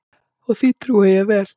Og því trúi ég vel.